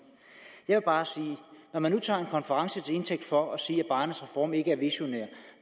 jeg vil bare sige når man nu tager en konference til indtægt for at sige at barnets reform ikke er visionær og